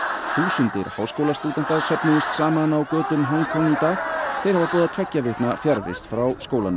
þúsundir háskólastúdenta söfnuðust saman á götum Hong Kong í dag þeir hafa boðað tveggja vikna fjarvist frá skólanum